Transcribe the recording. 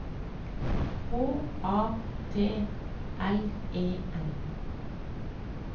H A T L E N